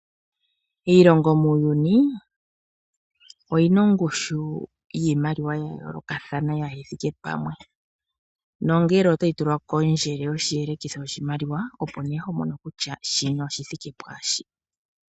Iilongo muuyuni oyina ongushu yiimaliwa ya yoolokathana kayi thike pamwe nongele otayi tulwa kondjelo yoshelekitho shiimaliwa opo ne ho mono kutya shino oshi thike pwaashino.